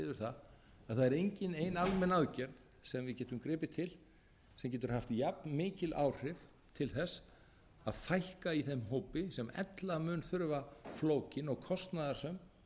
að það er engin ein almenn aðgerð sem við getum gripið til sem getur haft jafn mikil áhrif til þess að fækka í þeim hópi sem ella mun þurfa flókin og kostnaðarsöm